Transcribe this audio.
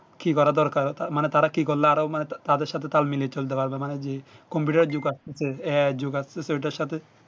কি করা দরকার তা মানে তারা কি করলে আরো মানে তা তাদের সাথে তাল মিলিয়ে চলতে হবে মানে কি computer এর জগ আসতেছে ইয়া যুগ আসতেছে এটার সাথে